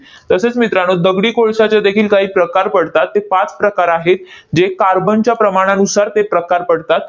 तसेच मित्रांनो, दगडी कोळशाचे देखील काही प्रकार पडतात. ते पाच प्रकार आहेत, जे कार्बनच्या प्रमाणानुसार ते प्रकार पडतात.